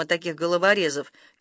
таких головорезов